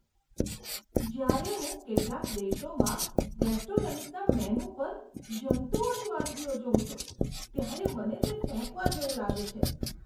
જ્યારે હું કેટલાક દેશોમાં રેસ્ટોરન્ટ્સના મેનૂ પર જંતુઓની વાનગીઓ જોઉં છું, ત્યારે મને તે ફેંકવા જેવું લાગે છે.